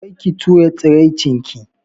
Kar ki tura tsiraicin ki.